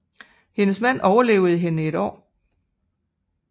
Hendes mand overlevede hende et år